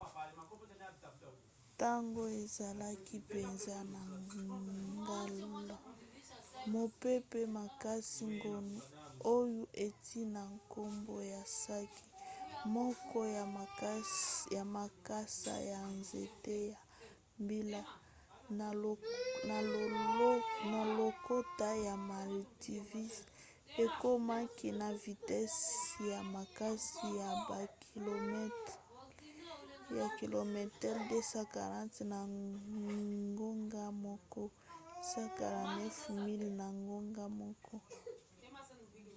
ntango ezalaki mpenza na ngala mopepe makasi gonu oyo euti na nkombo ya saki moko ya makasa ya nzete ya mbila na lokota ya maldives ekomaki na vitese ya makasi ya bakilometele 240 na ngonga moko 149 miles na ngonga moko